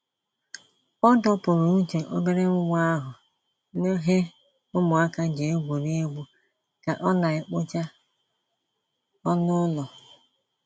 Ọ dọpụrụ uche obere nwa ahụ n'he ụmụaka ji egwuri egwu ka ọ na-ekpocha ọnụ ụlọ.